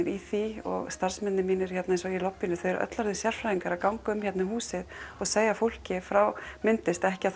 í því og starfsmennirnir mínir eins og í lobbíinu eru öll orðin sérfræðingar í að ganga um húsið og segja fólki frá myndlist ekki á